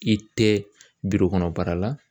I tɛ kɔnɔ baara la